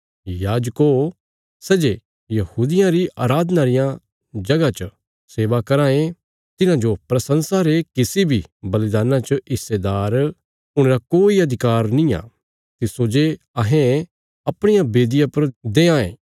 याजको सै जे यहूदियां री अराधना रियां जगह च सेवा कराँ ये तिन्हांजो प्रशंसा रे किसी बी बलिदान्ना च हिस्सेदार हुणे रा कोई अधिकार नींआ तिस्सो जे अहें अपणिया बेदिया पर देआंये